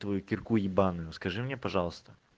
твою кирку ебаную скажи мне пожалуйста